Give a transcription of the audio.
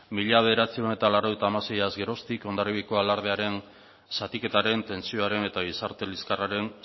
mila bederatziehun eta laurogeita hamaseiaz geroztik hondarribiako alardearen zatiketaren tentsioaren eta gizarte liskarraren